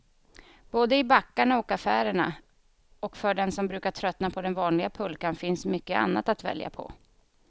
Både i backarna och affärerna, och för den som tröttnat på den vanliga pulkan finns mycket annat att välja på.